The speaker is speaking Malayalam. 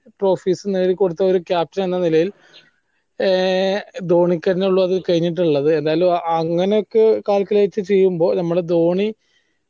trophies നേടി കൊടുത്ത ഒരു captain എന്ന നിലയി ഏഹ് ധോണിക്ക് തെന്നെള്ളൊരു കയ്യനേട്ടമുള്ളത് എന്നാലും അങ്ങനെ calculate ചെയ്യുമ്പോൾ നമ്മടെ ധോണി